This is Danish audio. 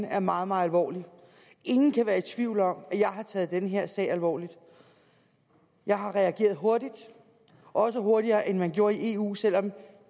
er meget meget alvorlig ingen kan være i tvivl om at jeg har taget den her sag alvorligt jeg har reageret hurtigt også hurtigere end man gjorde i eu selv om eu